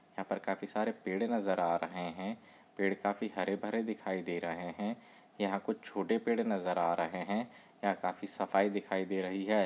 यहाँ पर काफी सारे पेड नजर आ रहे है पेड़ काफी हरे-भरे दिखाई दे रहे है यहा कुछ छोटे पेड़ नजर आ रहे है। यहाँ काफी सफाई दिखाई दे रही है।